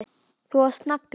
Þú varst nagli.